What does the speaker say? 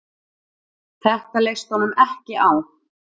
Þetta leist honum ekki á.